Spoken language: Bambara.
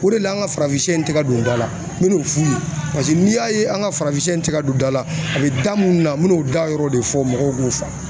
Mun de la an ka farafinsɛ in tɛ ka don da la n bɛna o f'u ye paseke n'i y'a ye an ka farafinsɛ in tɛ ka don da la a bɛ da mun na n mɛn'o da yɔrɔw de fɔ mɔgɔw k'o